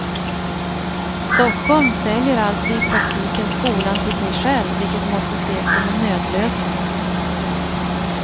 Stockholm säljer alltså i praktiken skolan till sig själv vilket måste ses som en nödlösning.